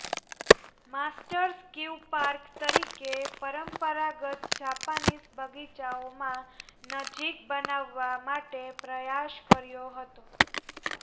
masters કિવ park તરીકે પરંપરાગત જાપાનીઝ બગીચાઓમાં નજીક બનાવવા માટે પ્રયાસ કર્યો હતો